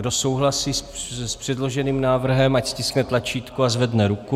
Kdo souhlasí s předloženým návrhem, ať stiskne tlačítko a zvedne ruku.